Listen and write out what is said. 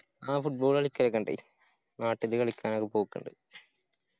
ആ football കളിക്കലൊക്കെ ഇണ്ടായ്നു. നാട്ടില് കളിക്കാനൊക്കെ പോക്കിണ്ട്.